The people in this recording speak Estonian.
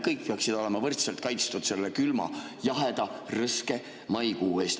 Kõik peaksid olema võrdselt kaitstud külma, jaheda ja rõske maikuu eest.